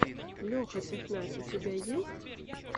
леха технарь у тебя есть